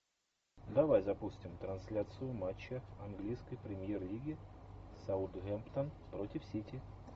давай запустим трансляцию матча английской премьер лиги саутгемптон против сити